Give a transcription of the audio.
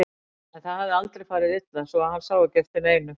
En það hafði aldrei farið illa svo hann sá ekki eftir neinu.